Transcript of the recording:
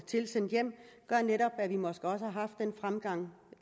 sendt hjem gør netop at vi måske også har haft den fremgang